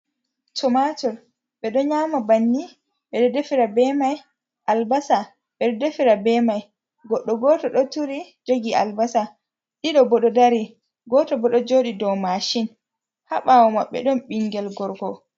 Tomator ɓe ɗo nyama banni, ɓe ɗo defira be mai albasa ɓe ɗo defira be mai, godɗo goto ɗo turi jogi albasa, ɗiɗo ɗobo ɗo dari goto bo ɗo joɗi dow machin habawo mabɓe ɗon ɓingel gorko.